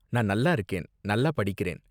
நான் நல்லா இருக்கேன், நல்லா படிக்கிறேன்.